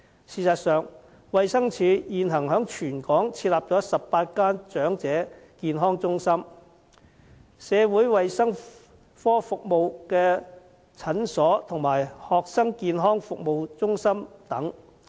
事實上，衞生署現時在全港設有18間長者健康中心、社會衞生科服務的診所及學生健康服務中心等。